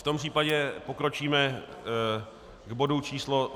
V tom případě pokročíme k bodu číslo